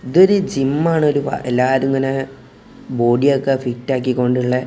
ഇതൊരു ജിം ആണൊരു വ എല്ലാരും ഇങ്ങനെ ബോഡി ഒക്കെ ഫിറ്റ് ആക്കി കൊണ്ടുള്ളെ --